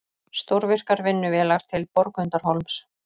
Stórvirkar vinnuvélar til Borgundarhólms